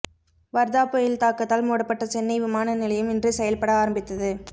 வர்தா புயல் தாக்கத்தால் மூடப்பட்ட சென்னை விமான நிலையம் இன்று செயல்பட ஆரம்பித்தது